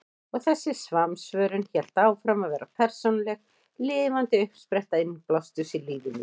Og þessi samsvörun hélt áfram að vera persónuleg, lifandi uppspretta innblásturs í lífi mínu.